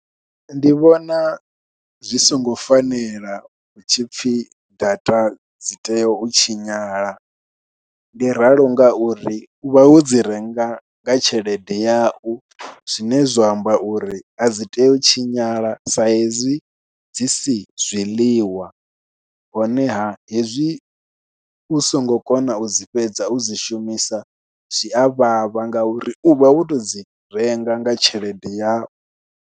Ndi vhona zwi songo fanela hu tshi pfhi data dzi tea u tshinyala, ndi ralo ngauri u vha wo dzi renga nga tshelede yau, zwine zwa amba uri a dzi tea u tshinyala sa ezwi dzi si zwiḽiwa honeha hezwi u songo kona u dzi fhedza u dzi shumisa zwi a vhavha ngauri u vha wo tou dzi renga nga tshelede yau.